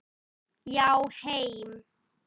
Já, heim.